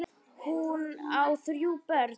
Hún á þrjú börn.